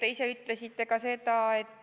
Aitäh, hea küsija!